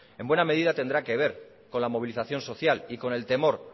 en buena medida tendrá que ver con la movilización social y con el temor